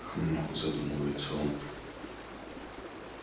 хмм задумывается он